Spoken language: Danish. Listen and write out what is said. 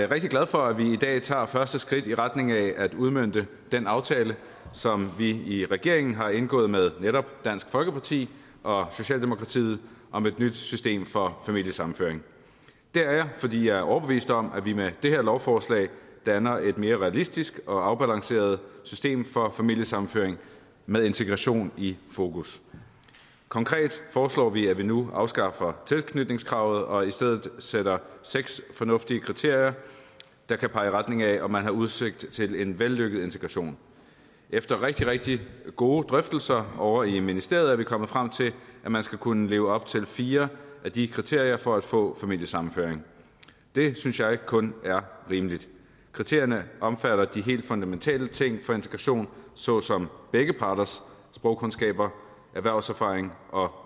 rigtig glad for at vi i dag tager første skridt i retning af at udmønte den aftale som vi i regeringen har indgået med netop dansk folkeparti og socialdemokratiet om et nyt system for familiesammenføring det er jeg fordi jeg er overbevist om at vi med det her lovforslag danner et mere realistisk og afbalanceret system for familiesammenføring med integration i fokus konkret foreslår vi at vi nu afskaffer tilknytningskravet og i stedet sætter seks fornuftige kriterier der kan pege i retning af om man har udsigt til en vellykket integration efter rigtig rigtig gode drøftelser ovre i ministeriet er vi kommet frem til at man skal kunne leve op til fire af de kriterier for at få familiesammenføring det synes jeg kun er rimeligt kriterierne omfatter de helt fundamentale ting for integration såsom begge parters sprogkundskaber erhvervserfaring og